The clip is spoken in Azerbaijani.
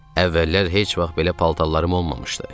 Əvvəllər heç vaxt belə paltarlarım olmamışdı.